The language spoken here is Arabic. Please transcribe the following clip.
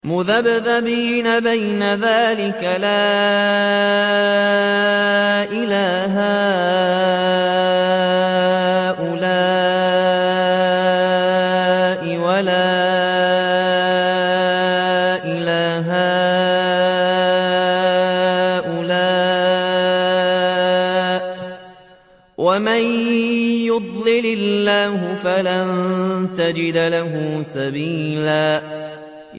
مُّذَبْذَبِينَ بَيْنَ ذَٰلِكَ لَا إِلَىٰ هَٰؤُلَاءِ وَلَا إِلَىٰ هَٰؤُلَاءِ ۚ وَمَن يُضْلِلِ اللَّهُ فَلَن تَجِدَ لَهُ سَبِيلًا